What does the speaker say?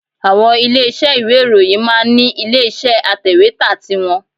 Àwọn ilé iṣẹ́ ìwé ìròyìn máa ń ní ilé iṣẹ́ atẹ̀wẹ́tà ti wọn